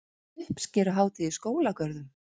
Uppskeruhátíð í skólagörðum